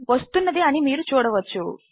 వస్తున్నది అని మీరు చూడవచ్చు